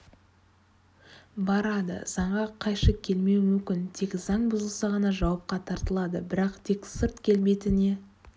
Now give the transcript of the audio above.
барады заңға қайшы келмеуі мүмкін тек заң бұзылса ғана жауапқа тартылады бірақ тек сырт келбетіне